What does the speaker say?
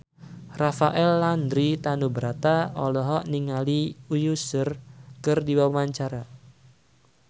Rafael Landry Tanubrata olohok ningali Usher keur diwawancara